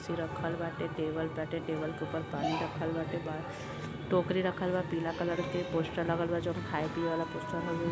कुर्सी रखल बाटे। टेबल बाटे। टेबल के ऊपर पानी रखल बाटे। बाहर टोकरी रखल बा पीला कलर के। पोस्टर लगल बा जोन खाये-पिए वाला पोस्टर हउवे।